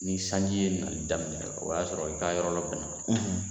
Ni sanji ye nali daminɛ o y'a sɔrɔ i ka yɔrɔ lɔbɛn na.